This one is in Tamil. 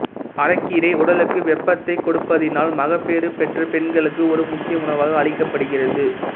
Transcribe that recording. அரைக்கீரை உடலுக்கு வெப்பத்தை கொடுப்பதினால் மகப்பேறு பெற்ற பெண்களுக்கு ஒரு முக்கிய உணவாக அளிக்கபடுகிறது